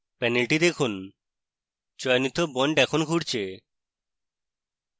panel দেখুন চয়নিত bond এখন ঘুরছে